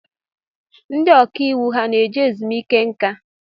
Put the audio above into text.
Ndị ọkàiwu ha na-eje ezumiike nka?